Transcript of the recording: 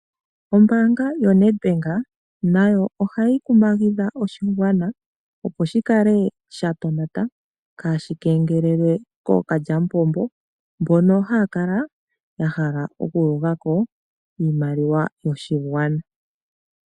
Ombaanga yo Neti mbenga nayo ohayikumagidha oshigwana opo shikale shatonata kaashikengelelwe kokalyamupombo mbono haakala ya hala okuyugako iimaliwa yoshigwana.